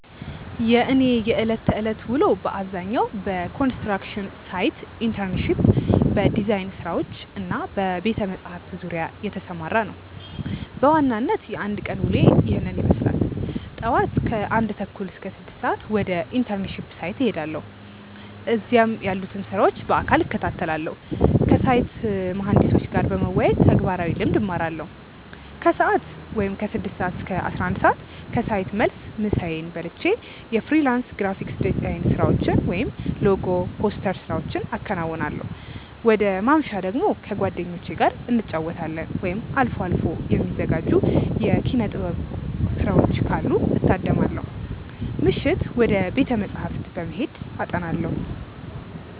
የእኔ የዕለት ተዕለት ውሎ በአብዛኛው በኮንስትራክሽን ሳይት ኢንተርንሺፕ፣ በዲዛይን ስራዎች እና በቤተ-መጻሕፍት ዙሪያ የተሰማራ ነው። በዋናነት የአንድ ቀን ውሎዬ ይህንን ይመስላል፦ ጧት (ከ1:30 - 6:00)፦ ወደ ኢንተርንሺፕ ሳይት እሄዳለሁ። እዚያም ያሉትን ስራዎች በአካል እከታተላለሁ። ከሳይት መሃንዲሶች ጋር በመወያየት ተግባራዊ ልምድ እማራለሁ። ከሰዓት (ከ6:00 - 11:00)፦ ከሳይት መልስ ምሳዬን በልቼ የፍሪላንስ ግራፊክ ዲዛይን ስራዎችን (ሎጎ፣ ፖስተር ስራዎቼን አከናውናለሁ። ወደ ማምሻ ደግሞ፦ ከጓደኞቼ ጋር እንጫወታለን፣ ወይም አልፎ አልፎ የሚዘጋጁ የኪነ-ጥበቦችን ካሉ እታደማለሁ። ምሽት፦ ወደ ቤተ-መጻሕፍት በመሄድ አጠናለሁ።